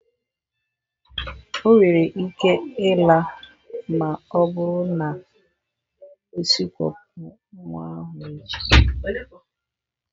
O nwere ike ịla ma ọ bụrụ na o sikwopụ nwa ahụ echi.